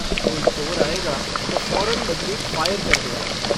कोई चोर आएगा तो फौरन बन्दूक फ़ायर कर देगा।